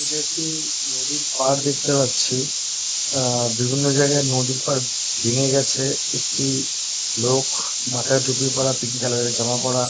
এটা একটি-ই নদীর পাড় দেখতে পাচ্ছি। আহ বিভিন্ন জায়গায় নদীর পাড় ভেঙ্গে গেছে। একটি লোক মাথায় টুপি পরা পিংক কালার -এর জামা পড়া।